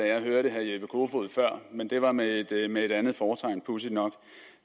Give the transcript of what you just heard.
jeg hørte herre jeppe kofod før men det var med et andet fortegn pudsigt nok